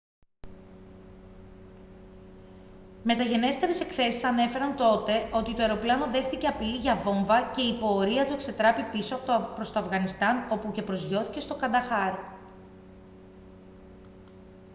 μεταγενέστερες εκθέσεις ανέφεραν τότε ότι το αεροπλάνο δέχθηκε απειλή για βόμβα και η πορεία του εξετράπη πίσω προς το αφγανιστάν όπου και προσγειώθηκε στο κανταχάρ